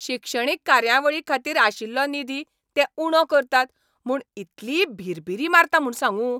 शिक्षणीक कार्यावळींखातीर आशिल्लो निधी ते उणो करतात म्हूण इतली भिरभिरी मारता म्हूण सांगू!